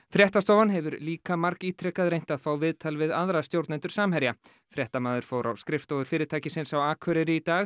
fréttastofan hefur líka margítrekað reynt að fá viðtal við aðra stjórnendur Samherja fréttamaður fór á skrifstofur fyrirtækisins á Akureyri í dag